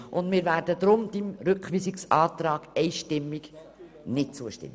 Deshalb werden wir diesen Rückweisungsantrag einstimmig ablehnen.